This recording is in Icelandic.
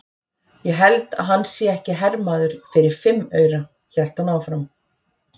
Ég held að hann sé ekki hermaður fyrir fimm aura, hélt hún áfram.